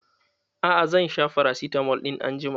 A'a, zan sha farasitamol ɗin anjima.